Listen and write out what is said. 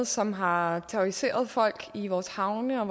som har terroriseret folk i vores havne og